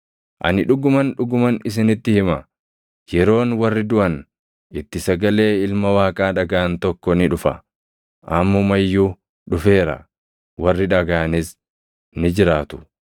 Ani dhuguman, dhuguman isinitti hima; yeroon warri duʼan itti sagalee Ilma Waaqaa dhagaʼan tokko ni dhufa; ammuma iyyuu dhufeera; warri dhagaʼanis ni jiraatu.